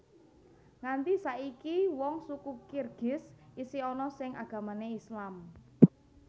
Nganti saiki wong suku Kirgiz isih ana sing agamane Islam